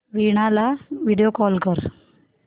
वीणा ला video call कर